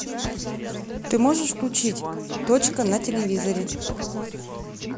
ты можешь включить точка на телевизоре